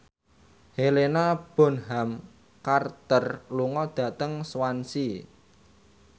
Helena Bonham Carter lunga dhateng Swansea